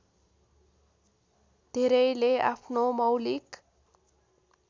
धेरैले आफ्नो मौलिक